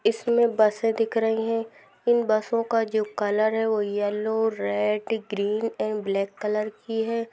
इसमें बसे दिख रही हैं इन बसो का जो कलर है वो yellow red green and black colour की है।